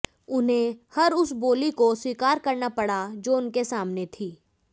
उन्हें हर उस बोली को स्वीकार करना पड़ा जो उनके सामने थी